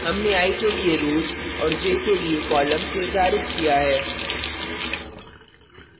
हमने i के लिए rows और j के लिए columns निर्धारित किया है